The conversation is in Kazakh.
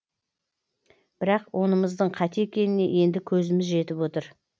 бірақ онымыздың қате екеніне енді көзіміз жетіп отыр